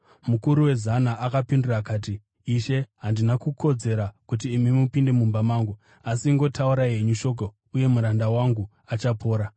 Mukuru wezana akapindura akati, “Ishe, handina kukodzera kuti imi mupinde mumba mangu. Asi ingotaurai henyu shoko, uye muranda wangu achapora.